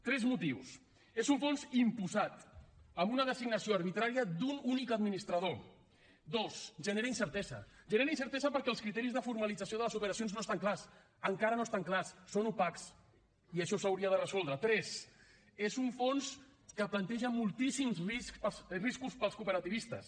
tres motius és un fons imposat amb una designació arbitrària d’un únic administrador dos genera incertesa genera incertesa perquè els criteris de formalització de les operacions no estan clars encara no estan clars són opacs i això s’hauria de resoldre tres és un fons que planteja moltíssims riscos per als cooperativistes